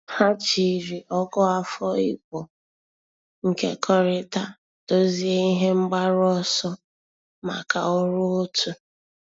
Há jìrì Ọ̀gụ́àfọ̀ Ị̀gbò nkekọrịta dòzìé ihe mgbaru ọsọ màkà ọ́rụ́ otu.